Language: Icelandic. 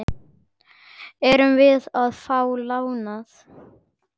Erum við að fá lánað?